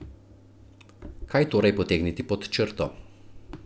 Kaj torej potegniti pod črto?